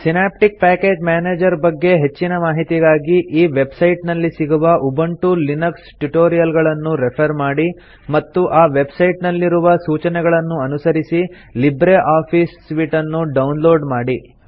synaptic package manager ಬಗ್ಗೆ ಹೆಚ್ಚಿನ ಮಾಹಿತಿಗಾಗಿ ಈ ವೆಬ್ ಸೈಟ್ ನಲ್ಲಿ ಸಿಗುವ ಉಬುಂಟು ಲಿನಕ್ಸ್ ಟ್ಯುಟೋರಿಯಲ್ ಗಳನ್ನು ರೆಫರ್ ಮಾಡಿ ಮತ್ತು ಆ ವೆಬ್ ಸೈಟ್ ನಲ್ಲಿ ರುವ ಸೂಚನೆಗಳನ್ನು ಅನುಸರಿಸಿ ಲಿಬ್ರೆ ಆಫೀಸ್ ಸೂಟ್ ನ್ನು ಡೌನ್ ಲೋಡ್ ಮಾಡಿ